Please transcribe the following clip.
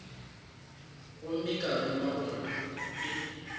gomme ka ruma gore ke